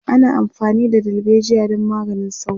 ana amfani da dalbejiya don maganin sauro